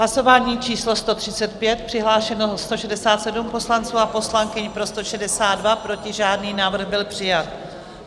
Hlasování číslo 135, přihlášeno 167 poslanců a poslankyň, pro 162, proti žádný, návrh byl přijat.